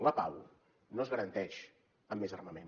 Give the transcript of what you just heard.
la pau no es garanteix amb més armament